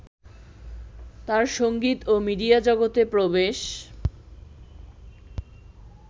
তাঁর সঙ্গীত ও মিডিয়া জগতে প্রবেশ